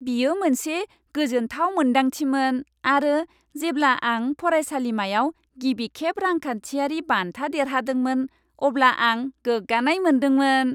बियो मोनसे गोजोन्थाव मोन्दांथिमोन आरो जेब्ला आं फरायसालिमायाव गिबिखेब रांखान्थियारि बान्था देरहादोंमोन, अब्ला आं गोग्गानाय मोन्दोंमोन।